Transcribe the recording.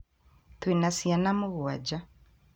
twe na ciana mũgwanja